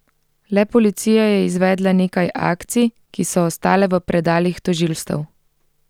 Le policija je izvedla nekaj akcij, ki so ostale v predalih tožilstev.